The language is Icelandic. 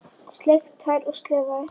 Sleikt tær og slefað.